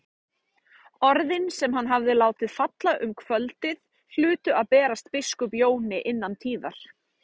Orðin sem hann hafði látið falla um kvöldið hlutu að berast biskup Jóni innan tíðar.